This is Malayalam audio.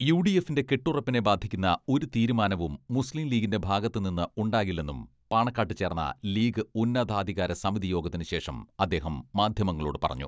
യുഡിഎഫിന്റെ കെട്ടുറപ്പിനെ ബാധിക്കുന്ന ഒരു തീരുമാനവും മുസ്ലീം ലീഗിന്റെ ഭാഗത്തു നിന്ന് ഉണ്ടാകില്ലെന്നും പാണക്കാട്ട് ചേർന്ന ലീഗ് ഉന്നതാധികാര സമിതിയോഗത്തിന് ശേഷം അദ്ദേഹം മാധ്യമങ്ങളോട് പറഞ്ഞു.